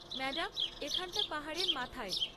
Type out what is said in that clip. Madam, এখানটা পাহাড়ের মাথায়।